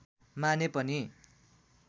माने पनि